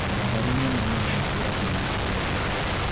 Matharũ mũno mũno makũragio ma kwendia